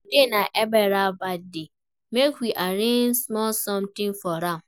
Today na Ebere birthday, make we arrange small something for am